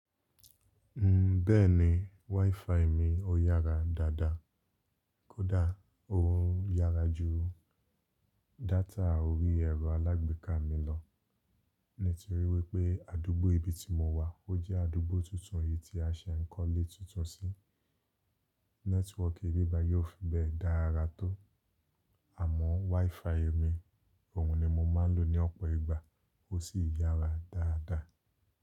Bẹ́ẹ̀ni, wifi mi ó yára dáadáa. Kódà oun yára ju data òrí ẹ̀rọ alágbèká mi lọ, nítorí wípé àdúgbò ibi tí mo wà ó jẹ́ àdúgbò tuntun eyìí tí a ṣe ń kọ́lé tuntun sí. Nẹ́tíwọ̀ọ̀kì ìbi bayi ò fi bẹ́ẹ̀ dára tó àmọ́ wifi mi òun ni mo máa ń lò ní ọ̀pọ̀ ìgbà ó sì yára dáadáa.